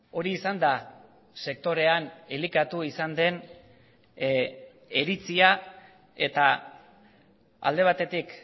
hori izan da sektorean elikatu izan den iritzia eta alde batetik